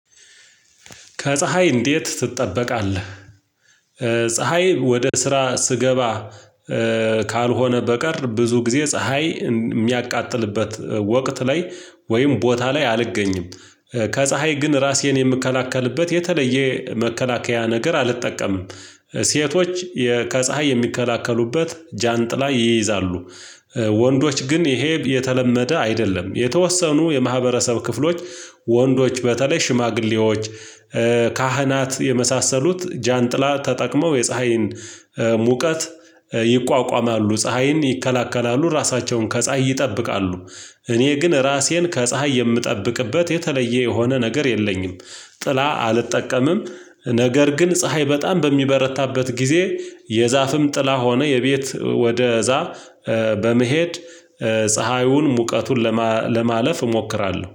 ከፀሀይ እንዴት ትጠበቃለህ? ፀሀይ ወደ ስራ ስገባ ካልሆነ በቀር ብዙ ጊዜ ፀሀይ የሚያቃጥልበት ወቅት ላይ ወይም ቦታ ላይ አልገኝም። ከፀሀይ ግን ራሴን የምከላከልበት የተለየ መከላከያ ነገር አልጠቀምም። ሴቶች ከፀሀይ የሚከላከሉበት ጃንጥላ ይይዛሉ። ወንዶች ግን ይሄ የተለመደ አይደለም የተወሰኑ የማህበረሰብ ክፍሎች። ወንዶች በተለይ ሽማግሌዎች ካህናት የመሳሰሉት ጃንጥላ ተጠቅመው የፀሀይን ሙቀት ይቋቋማሉ ፀሀይን ይከላከላሉ ራሳቸውን ከፀሀይ ይጠብቃሉ። እኔ ግን ራሴን ከፀሀይ የምጠብቅበት የተለየ የሆነ ነገር የለኝም። ጥላ አልጠቀምም። ነገር ግን ፀሀይ በጣም በሚበረታበት ጊዜ የዛፍም ጥላ ሆነ የቤት ወደ እዛፍ በመሄድ ፀሀዩን ሙቀቱን ለማለፍ እሞክራለሁ